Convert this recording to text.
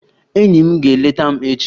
Enyi m ga-eleta m echi